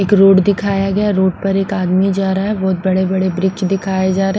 एक रोड दिखाया गया रोड पर एक आदमी जा रहा है बहुत बड़े-बड़े ब्रिच दिखाए जा रहे।